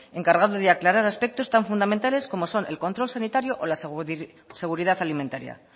encargado de aclarar aspectos tan fundamentales como son el control sanitario o la seguridad alimentaria